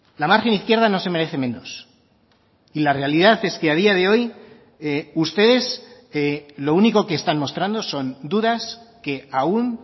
la margen izquierda no se merece menos y la realidad es que a día de hoy ustedes lo único que están mostrando son dudas que aún